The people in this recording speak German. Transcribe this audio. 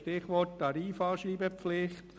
Stichwort Tarifanschreibepflicht.